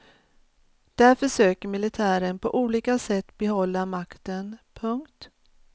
Där försöker militären på olika sätt behålla makten. punkt